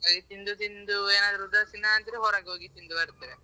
ತಿಂದು ತಿಂದು ಏನಾದ್ರೂ ಉದಾಸೀನ ಆದ್ರೆ ಹೊರಗೆ ಹೋಗಿ ತಿಂದು ಬರ್ತೇವೆ.